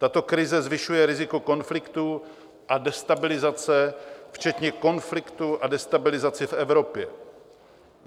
Tato krize zvyšuje riziko konfliktů a destabilizace včetně konfliktů a destabilizace v Evropě.